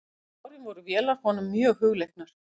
Síðustu árin voru vélar honum mjög hugleiknar.